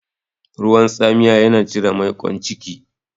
Ruwan tsamiya yana cire maiƙon ciki.